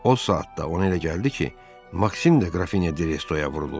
O saatda ona elə gəldi ki, Maksim də Qrafinya de Restoya vurulub.